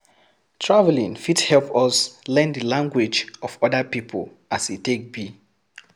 Traveling fit help us learn the language of other pipo as e take be